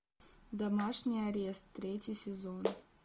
домашний арест третий сезон